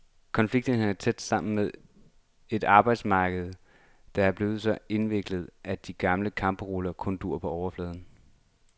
Konflikterne hænger tæt sammen med et arbejdsmarked, der er blevet så indviklet, at de gamle kampparoler kun duer på overfladen.